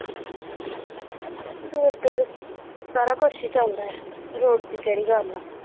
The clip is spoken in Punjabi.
ਰੋਡ ਤੇ ਤੇ ਸਾਰਾ ਕੁੱਛ ਹੀ ਚਲਦਾ ਆ ਰੋਡ ਦੀ ਕਿਹੜੀ ਗੱਲ ਆ।